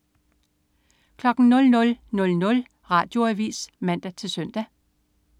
00.00 Radioavis (man-søn)